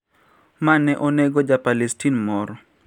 Ma ne onego ja Palestin moro